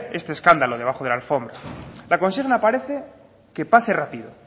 este escándalo debajo de la alfombra la consigna parece que pase rápido